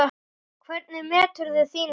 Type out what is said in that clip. Hvernig meturðu þína stöðu?